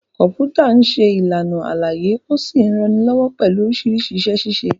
Kọ̀m̀pútà ń ṣe Ìlàna àlàyé ó sì ń ranilọ́wọ́ pẹ̀lú oríṣiríṣi iṣẹ-ṣíṣe